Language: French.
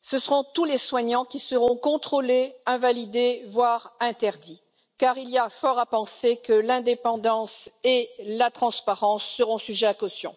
ce seront tous les soignants qui seront contrôlés, invalidés, voire interdits, car il y a fort à penser que l'indépendance et la transparence seront sujettes à caution.